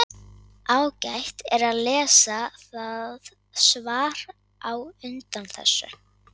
ágætt er að lesa það svar á undan þessu